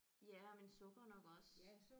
Ja men sukker nok også